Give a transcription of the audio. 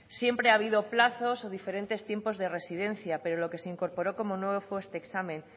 siempre ha habido plazos o diferentes tiempos de residencia pero lo que se incorporó como nuevo fue este examen